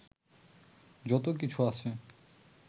যত কিছু আছে